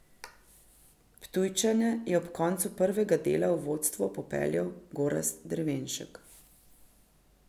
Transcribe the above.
Ptujčane je ob koncu prvega dela v vodstvo popeljal Gorazd Drevenšek.